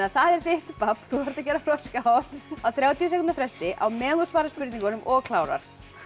það er þitt babb þú þarft að gera froskahopp á þrjátíu sekúndna fresti á meðan þú svarar spurningunum og klárar